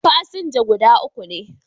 Fasinja guda uku ne